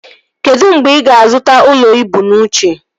Kedụ mgbe ị ga-azụta ụlọ ibu n'uche?